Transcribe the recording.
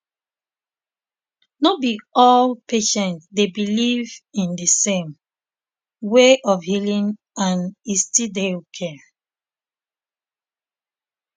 no be all patient dey believe in di same um way of healing and e still dey okay